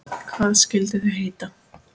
Hvað skyldu þau heita?